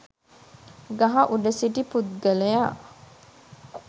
ගහ උඩ සිටි පුද්ගලයා